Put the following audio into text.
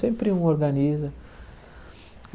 Sempre um organiza.